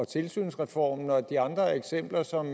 tilsynsreformen og de andre eksempler som